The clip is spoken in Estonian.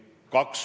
Aitäh!